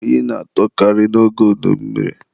oyi na-atụkarị n'oge udummiri.